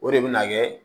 O de bɛ na kɛ